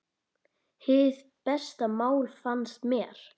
Hið besta mál, fannst mér.